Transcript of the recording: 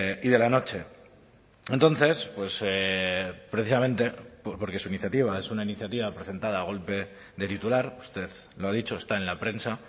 y de la noche entonces precisamente porque su iniciativa es una iniciativa presentada a golpe de titular usted lo ha dicho está en la prensa